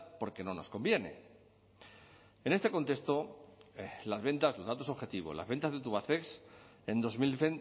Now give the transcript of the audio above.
porque no nos conviene en este contexto las ventas los datos objetivos las ventas de tubacex en dos mil